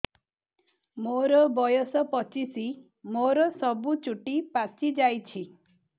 ମୋର ବୟସ ପଚିଶି ମୋର ସବୁ ଚୁଟି ପାଚି ଯାଇଛି